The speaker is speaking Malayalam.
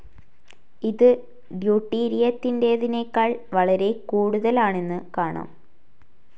ഇതു ഡ്യുട്ടീരിയത്തിന്റേതിനേക്കാൾ വളരെ കൂടുതൽ ആണെന്നു കാണാം.